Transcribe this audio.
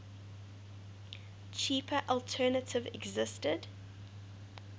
cheaper alternative existed